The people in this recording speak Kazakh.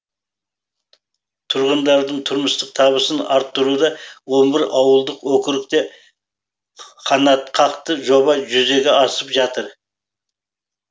тұрғындардың тұрмыстық табысын арттыруда он бір ауылдық округте қанатқақты жоба жүзеге асып жатыр